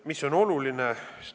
Mis on oluline?